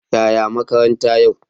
Yaya makaranta yau?